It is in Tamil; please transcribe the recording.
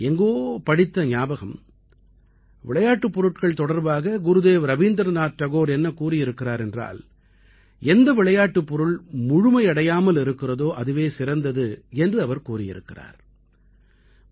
எங்கோ படித்த ஞாபகம் விளையாட்டுப் பொருட்கள் தொடர்பாக குருதேவ் ரவீந்திரநாத் டகோர் என்ன கூறியிருக்கிறார் என்றால் எந்த விளையாட்டுப் பொருள் முழுமையடையாமல் இருக்கிறதோ அதுவே சிறந்தது என்று அவர் கூறியிருக்கிறார்